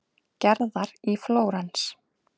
Gerðar í Flórens.